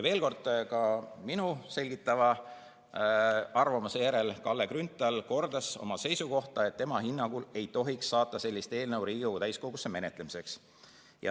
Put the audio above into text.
Veel kord, ka minu selgitava arvamuse järel kordas Kalle Grünthal oma seisukohta, et tema hinnangul ei tohiks saata sellist eelnõu Riigikogu täiskogusse menetlemiseks.